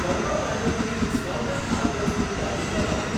Karma કેટલની discounted આઇટમ્સની યાદી બનાવો.